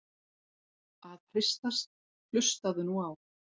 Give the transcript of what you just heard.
að hristast- hlustaðu nú á!